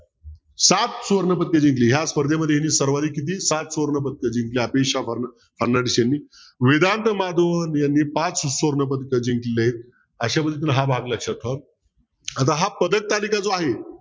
सात सुवर्णपदके जिंकले या स्पर्धे मध्ये हिने सर्वाधीक किती सात सुवर्णपद जिंकले अपेक्षा फर्नांडिस हिने यांनी पाच सुवर्णपदक जिंकले अश्या पद्धतीने हा भाग लक्षत ठेवा आता हा पदकतालिका जो आहे